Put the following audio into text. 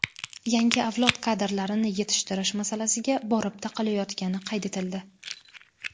yangi avlod kadrlarini yetishtirish masalasiga borib taqalayotgani qayd etildi.